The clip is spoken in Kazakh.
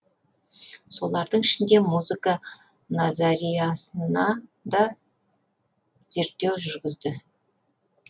солардың ішінде музыка назариасына да зерттеу жүргізді